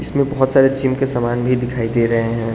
इसमें बहोत सारे जिम के सामान भी दिखाई दे रहे हैं।